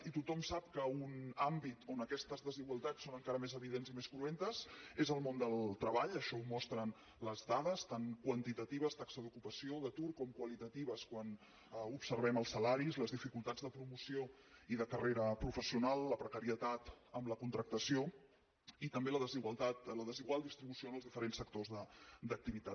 i tothom sap que un àmbit on aquestes desigualtats són encara més evidents i més cruentes és el mon del treball això ho mostren les dades tant quantitatives taxa d’ocupació o d’atur com qualitatives quan observem els salaris les dificultats de promoció i de carrera professional la precarietat en la contractació i també la desigual distribució en els diferents sectors d’activitat